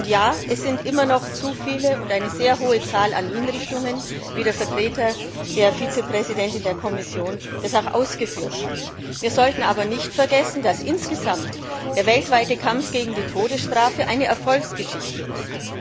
Ja, es sind immer noch zu viele und eine sehr hohe Zahl an Hinrichtungen, wie dies der Vertreter der Vizepräsidentin der Kommission auch ausgeführt hat. Wir sollten aber nicht vergessen, dass der weltweite Kampf gegen die Todesstrafe eine Erfolgsgeschichte ist.